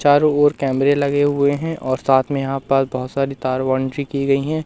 चारों ओर कैमरे लगे हुए हैं और साथ में यहां पास बहोत सारी तार की गई है।